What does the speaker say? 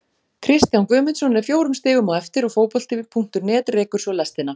Kristján Guðmundsson er fjórum stigum á eftir og Fótbolti.net rekur svo lestina.